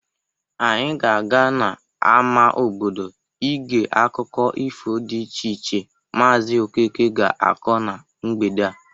Anyi ga-aga n'ama obodo igere akụkọ ifo dị iche iche maazị Okeke ga-akọ na mgbede a.